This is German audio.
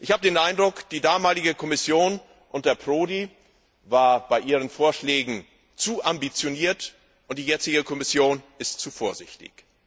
Ich habe den Eindruck, die damalige Kommission und Herr Prodi waren bei ihren Vorschlägen zu ambitioniert, und die jetzige Kommission ist zu vorsichtig.